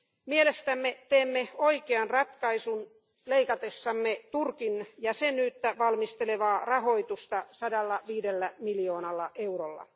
Mielestämme teemme oikean ratkaisun leikatessamme Turkin jäsenyyttä valmistelevaa rahoitusta 105 miljoonalla eurolla.